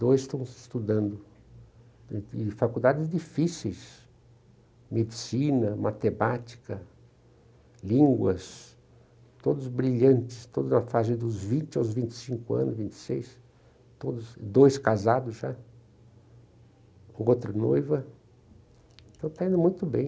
ou estão se estudando, e faculdades difíceis, medicina, matemática, línguas, todos brilhantes, todos na fase dos vinte aos vinte e cinco anos, vinte e seis, dois casados já, com outra noiva, então está indo muito bem.